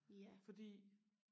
ja